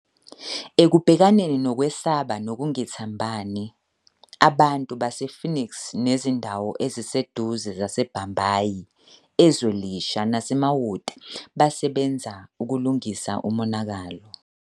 Ekubhekaneni nokwesaba nokungethembani, abantu base-Phoenix nezindawo eziseduze zaseBhambayi, eZwelisha naseMawoti basebenza ukulungisa umonakalo.